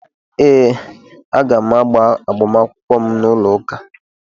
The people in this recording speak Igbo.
Ee, aga m agba agbamakwụkwọ m n'ụlọụka.